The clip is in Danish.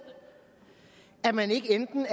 at man ikke er enten